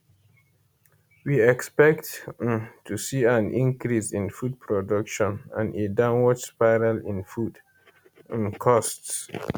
we expect um to see an increase in food production and a downward spiral in food um costs